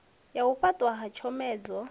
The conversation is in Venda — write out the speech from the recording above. ya u fhaṱwa ha tshomedzo